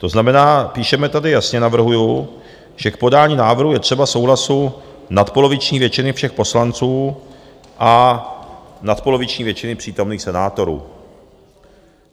To znamená, píšeme tady, jasně navrhuji, že k podání návrhu je třeba souhlasu nadpoloviční většiny všech poslanců a nadpoloviční většiny přítomných senátorů.